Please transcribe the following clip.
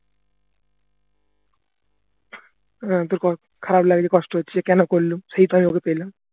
আহ তোর খারাপ লাগছে কষ্ট হচ্ছে যে কেনো করলুম সেই তো